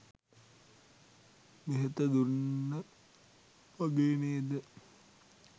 බෙහෙත දුන්න වගේ නේද?